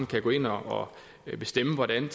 kan gå ind og bestemme hvordan